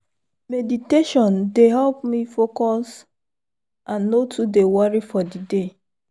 meditation dey help me focus and no too dey worry for the day.